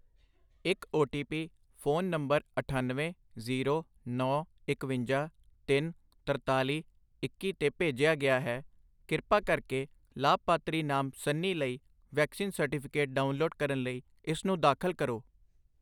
ਇੱਕ O T P phone number ਅਠੱਨਵੇਂ, zero, ਨੌ, ਇਕਵੰਜਾ, ਤਿੰਨ, ਤਰਤਾਲੀ, ਇੱਕੀ 'ਤੇ ਭੇਜਿਆ ਗਿਆ ਹੈ। ਕਿਰਪਾ ਕਰਕੇ ਲਾਭਪਾਤਰੀ ਨਾਮ ਸਨੀ ਲਈ ਵੈਕਸੀਨ ਸਰਟੀਫਿਕੇਟ ਡਾਊਨਲੋਡ ਕਰਨ ਲਈ ਇਸਨੂੰ ਦਾਖਲ ਕਰੋ